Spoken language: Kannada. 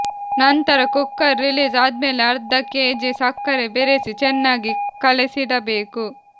ನಂತರ ಕುಕ್ಕರ್ ರಿಲೀಸ್ ಆದ್ಮೇಲೆ ಅರ್ಧ ಕೆಜಿ ಸಕ್ಕರೆ ಬೆರೆಸಿ ಚೆನ್ನಾಗಿ ಕಲಿಸಿಡಬೇಕು